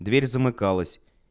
дверь замыкалась